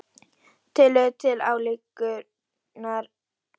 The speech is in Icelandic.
tillögu til ályktunar um hækkun hlutafjár svo eitthvað sé nefnt.